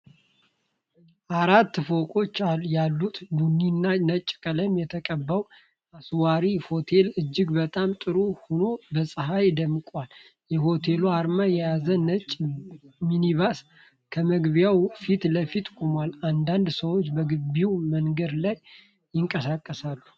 አራት ፎቆች ያሉት፣ ቡኒና ነጭ ቀለም የተቀባው አስንዋራ ሆቴል፣ እጅግ በጣም ጥሩ ሆኖ በፀሐይ ደምቆአል። የሆቴሉን አርማ የያዘ ነጭ ሚኒባስ ከመግቢያው ፊት ለፊት ቆሟል፤ አንዳንድ ሰዎች በግቢውና በመንገዱ ላይ ይንቀሳቀሳሉ።